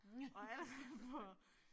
Og allerede for